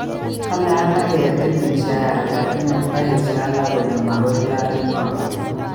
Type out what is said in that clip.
Kale alake ketil mshahara lakini kaesyo alege kole magoi taret noto